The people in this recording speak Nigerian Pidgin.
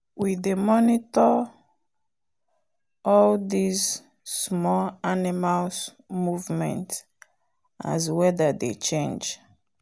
we dey monitors all these small animals movement as weather dey change